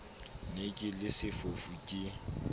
ne ke le sefofu ke